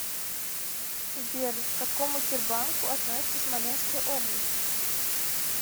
сбер к какому тербанку относится смоленская область